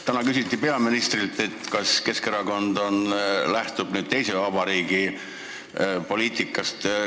Täna küsiti peaministrilt, kas Keskerakond lähtub nüüd teise vabariigi poliitikast.